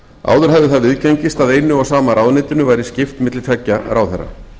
áður hafði það viðgengist að einu og sama ráðuneytinu væri skipt milli tveggja ráðherra